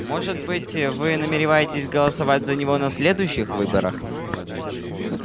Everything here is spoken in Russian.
может быть вы намереваетесь голосовать за него на следующих выборах